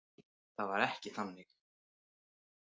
Nei, það var ekki þannig.